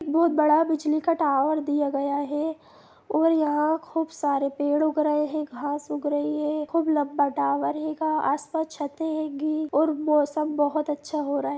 बहुत बड़ा बिजली का टायर दिया गया है और यहाँ खूब सारे पेड़ उग रहे है घास उग रही है खूब लम्बा टावर हेगा आसपास छते हेगी और मौसम बहुत अच्छा हो रहा है।